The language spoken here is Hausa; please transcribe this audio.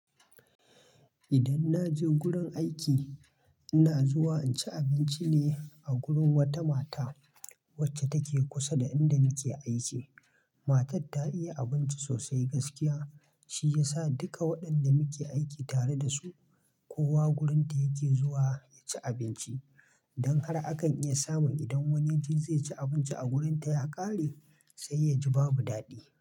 Idan naje gurin aiki ina zuwa in ci abincine a gurin wata mata wacce take kusa da inda nake aiki. Matar ta iya abinci sosai gaskiya shi yasa dukka wayanda muke aiki tare da su kowa gurin ta yake zuwa yaci abinci don har akan iya samun idan wani yaje zai ci abinci a wurinta ya ƙare, sai ya ji babu daɗi.